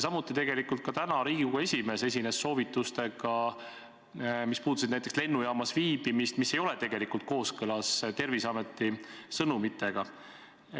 Ja ka Riigikogu esimees esines täna soovitustega, mis puudutasid näiteks lennujaamas viibimist, aga mis ei ole kooskõlas Terviseameti sõnumitega.